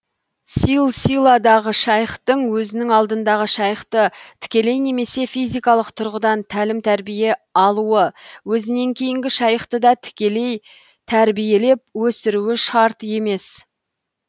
силсиладағы шайхтың өзінің алдындағы шайхты тікелей немесе физикалық тұрғыдан тәлім тәрбие алуы өзінен кейінгі шайхты да тікелей тәрбиелеп өсіруі шарт емес